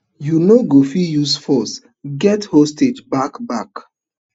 you no go fit use force get hostages back back